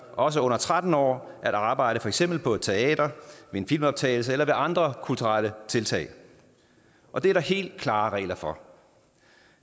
også under tretten år at arbejde for eksempel på et teater ved en filmoptagelse eller med andre kulturelle tiltag og det er der helt klare regler for